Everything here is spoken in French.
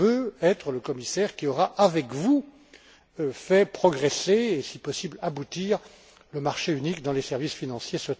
Mais je veux être le commissaire qui aura, avec vous, fait progresser et si possible aboutir, le marché unique dans les services financiers.